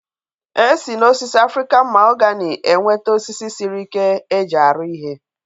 E si n'osisi Afrịkan mahogani enweta osisi sịrị ike e ji arụ ihe